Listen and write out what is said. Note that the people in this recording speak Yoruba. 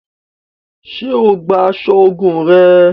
Ṣe o gbà aṣọ ogún rẹ?